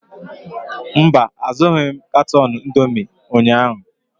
Mba, azụghị m katọn indomi ụnyaahụ.